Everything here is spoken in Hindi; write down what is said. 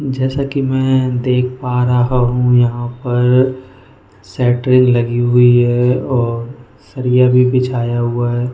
जैसा कि मैं देख पा रहा हूं यहां पर सेटिंग लगी हुई है और सरिया भी बिछाया हुआ है।